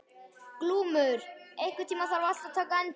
Glúmur, einhvern tímann þarf allt að taka enda.